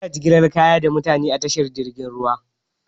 Ana jigilan kaya da mutane a tashar jiragen ruwa.